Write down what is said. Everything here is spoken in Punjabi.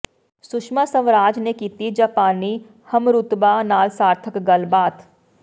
ਸੁਸ਼ਮਾ ਸਵਰਾਜ ਨੇ ਕੀਤੀ ਜਾਪਾਨੀ ਹਮਰੁਤਬਾ ਨਾਲ ਸਾਰਥਕ ਗੱਲਬਾਤ